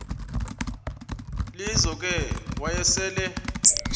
lizo ke wayesel